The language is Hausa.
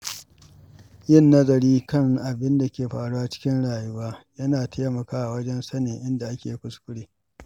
Yin nazari kan abin da ke faruwa cikin rayuwa yana taimakawa wajen sanin inda ake kuskure.